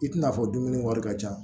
I tɛna fɔ dumuni wari ka ca